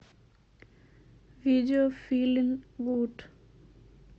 видео филин гуд